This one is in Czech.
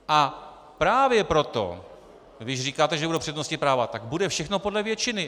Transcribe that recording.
A právě proto, když říkáte, že nebudou přednostní práva, tak bude všechno podle většiny.